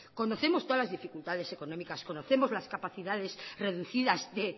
conocemos todas las dificultades económicas conocemos las capacidades reducidas de